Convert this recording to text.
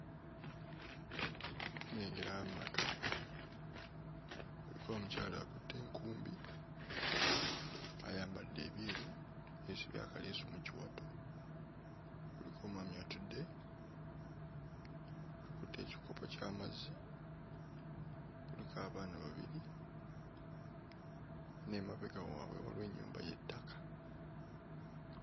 Nnengera amaka, kuliko omukyala akutte enkumbi ayambadde ebyeru, yeesibye akaleesu mu kiwato; kuliko omwami atudde, akutte ekikopo ky'amazzi; kuliko abaana babiri, n'emabega waabwe waliwo ennyumba y'ettaka.